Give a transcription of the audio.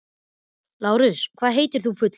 Lárus, hvað heitir þú fullu nafni?